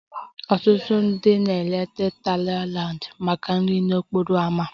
Ọtụtụ ndị na-eleta Thailand maka nri n'okporo ámá